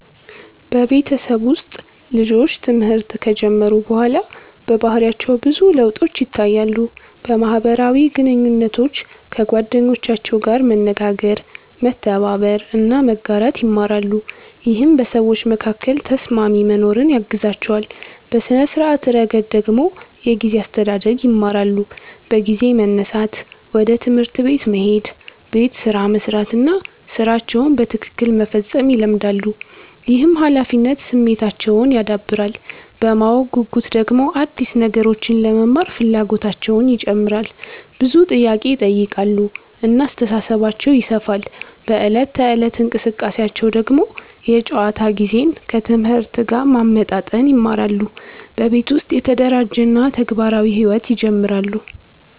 በቤተሰብ ውስጥ ልጆች ትምህርት ከጀመሩ በኋላ በባህሪያቸው ብዙ ለውጦች ይታያሉ። በማህበራዊ ግንኙነታቸው ከጓደኞቻቸው ጋር መነጋገር፣ መተባበር እና መጋራት ይማራሉ፣ ይህም በሰዎች መካከል ተስማሚ መኖርን ያግዛቸዋል። በሥነ-ስርዓት ረገድ ደግሞ የጊዜ አስተዳደር ይማራሉ፤ በጊዜ መነሳት፣ ወደ ትምህርት መሄድ፣ ቤት ስራ መስራት እና ሥራቸውን በትክክል መፈጸም ይለመዳሉ። ይህም ኃላፊነት ስሜታቸውን ያዳብራል። በማወቅ ጉጉት ደግሞ አዲስ ነገሮችን ለመማር ፍላጎታቸው ይጨምራል፣ ብዙ ጥያቄ ይጠይቃሉ እና አስተሳሰባቸው ይሰፋል። በዕለት ተዕለት እንቅስቃሴያቸው ደግሞ የጨዋታ ጊዜን ከትምህርት ጋር ማመጣጠን ይማራሉ፣ በቤት ውስጥ የተደራጀ እና ተግባራዊ ሕይወት ይጀምራሉ።